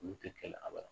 Olu tɛ kɛ a ba la